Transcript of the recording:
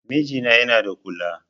Mijina yana da kula